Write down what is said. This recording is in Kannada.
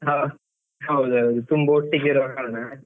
ಹ ಹೌದೌದು ತುಂಬಾ ಒಟ್ಟಿಗೆ ಇರೋಕಾಲ್ಲ.